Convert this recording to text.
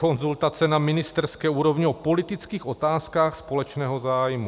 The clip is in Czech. Konzultace na ministerské úrovni o politických otázkách společného zájmu.